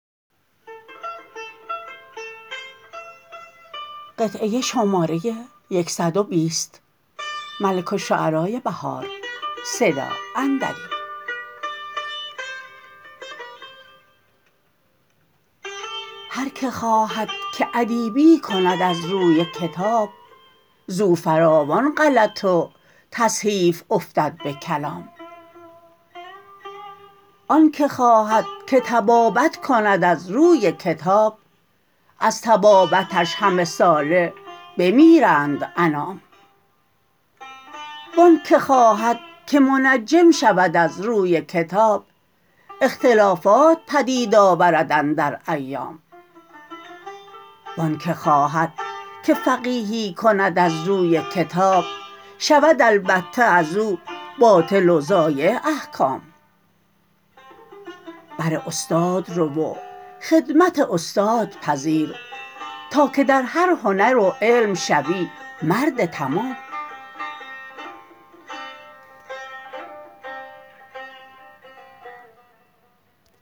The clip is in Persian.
هرکه خواهدکه ادیبی کند از روی کتاب زو فراوان غلط و تصحیف افتد به کلام آن که خواهدکه طبابت کند از روی کتاب از طبابتش همه ساله بمیرند انام و آن که خواهد که منجم شود از روی کتاب اختلافات پدید آورد اندر ایام و آن که خواهد که فقیهی کند از روی کتاب شود البته ازو باطل و ضایع احکام بر استاد رو و خدمت استاد پذیر تا که در هر هنر و علم شوی مرد تمام